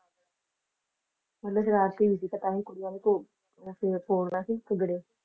ਮਤਲਬ ਸ਼ਰਾਰਤੀ ਵੀ ਸੀਗਾ ਤਾਂਹੀ ਕੁੜੀਆਂ ਨੂੰ ਘੋਲਣਾ ਸੀ ਘਗੜੇ